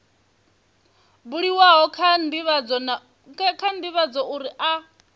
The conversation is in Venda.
buliwaho kha ndivhadzo uri a